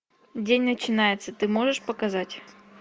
день начинается ты можешь показать